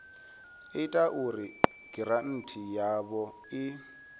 ita uri giranthi yavho i